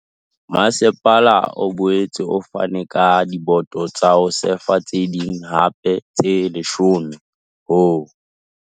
Masepala o boetse o fane ka diboto tsa ho sefa tse ding hape tse 10 ho.